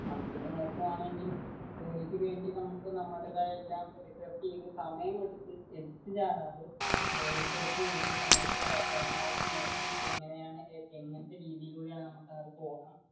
നമ്മക്കിപ്പോ നോക്കുവാണെങ്കിൽ ജോലിക്കുവേണ്ടി നമുക്ക് നമ്മുടേതായ എല്ലാം എടുത്തുചാടാതെ റിസർച്ച് ചെയ്തു പരമാവധി നോക്കി എങ്ങനെയാണ് ഇങ്ങനത്തെ രീതിയിലൂടെയാണ്